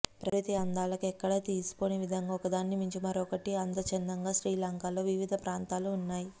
ప్రకృతి అందాలకు ఎక్కడా తీసిపోని విధంగా ఒకదానిని మించి మరొకటి అన్న చందంగా శ్రీలంకలో వివిధ ప్రాంతాలు ఉన్నాయి